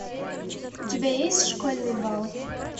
у тебя есть школьный бал